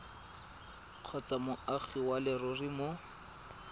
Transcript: kgotsa moagi wa leruri mo